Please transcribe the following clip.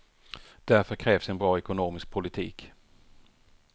Därför krävs en bra ekonomisk politik.